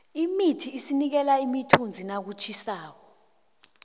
imithi isinikela imithunzi nakutjhisako